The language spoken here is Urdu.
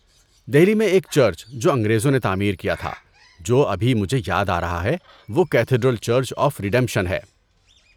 دہلی میں ایک چرچ جو انگریزوں نے تعمیر کیا تھا، جو ابھی مجھے یاد آ رہا ہے، وہ کیتھیڈرل چرچ آف ریڈیمپشن ہے۔